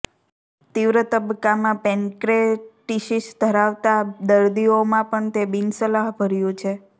તીવ્ર તબક્કામાં પેંક્રેટીસિસ ધરાવતા દર્દીઓમાં પણ તે બિનસલાહભર્યું છે